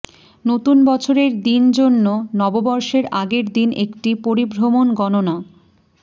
নতুন বছর এর দিন জন্য নববর্ষের আগের দিন একটি পরিভ্রমণ গণনা